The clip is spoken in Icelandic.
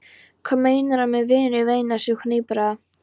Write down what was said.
Hvað meinarðu með vinur? veinaði sú hnipraða.